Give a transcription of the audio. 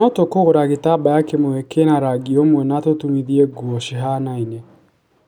No tũkũgũra gĩtambaya kĩmwe, kina rangi umwe na tũtumithie nguo cihanaine.